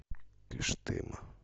кыштыма